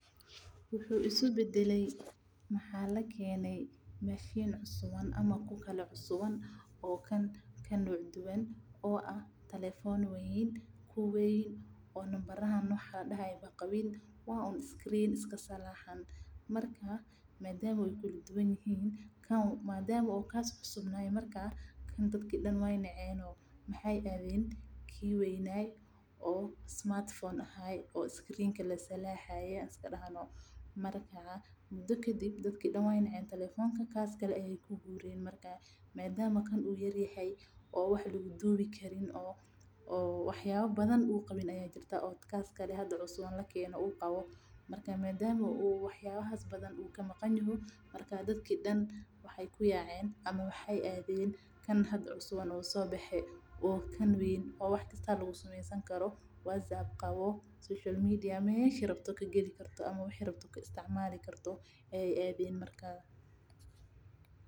Wuxuu isku badale waxaa lakeene ku kale oo cusuban oo ah ku weyn oo nambarahan qabin oo liska salaaxayo madama kaas uu cusub yahay dadka dan waay naceen oo kaas kale ayeey aaden madama oo kan wax lagu duubi Karin marka dadka dan midka kale ayeey aaden oo wax kasta laga isticmaalo Karo.